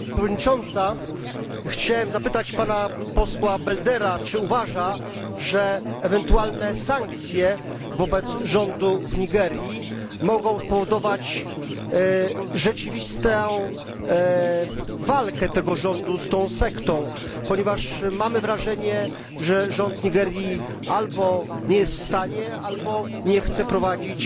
Pani Przewodnicząca! Chciałem zapytać Pana Posła Beldera, czy uważa, że ewentualne sankcje wobec rządu w Nigerii mogą spowodować rzeczywistą walkę tego rządu z tą sektą, ponieważ mamy wrażenie, że rząd Nigerii albo nie jest w stanie, albo nie chce prowadzić